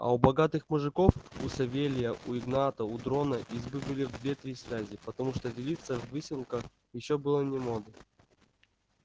а у богатых мужиков у савелия у игната у дрона избы были в две-три связи потому что делиться в выселках ещё было не модным